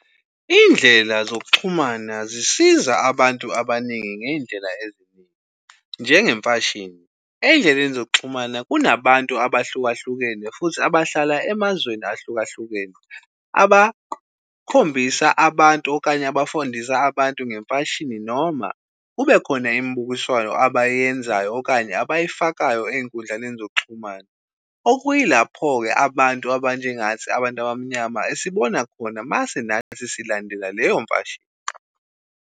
Indlela zokuxhumana zisiza abantu abaningi ngezindlela eziningi njenge mfashini. Ezindleleni zokuxhumana kunabantu abahlukahlukene futhi abahlala emazweni ahlukahlukene abakhombisa abantu okanye abafundisa abantu ngemfashini noma kubekhona imibukiswano abayenzayo okanye abayifakayo ezinkundlaneni zokuxhumana. Okuyilapho-ke abantu abanjengathi abantu abamnyama esibona khona mase nathi silandela leyo mfashini.